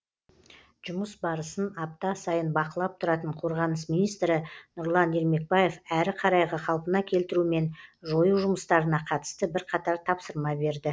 жұмыс барысын апта сайын бақылап тұратын қорғаныс министрі нұрлан ермекбаев әрі қарайғы қалпына келтіру мен жою жұмыстарына қатысты бірқатар тапсырма берді